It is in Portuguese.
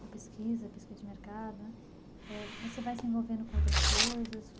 com pesquisa, pesquisa de mercado né, ãh você vai se envolvendo com outras coisas?